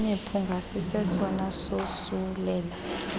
imiphunga sisesona sosulela